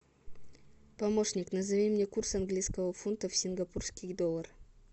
помощник назови мне курс английского фунта в сингапурские доллары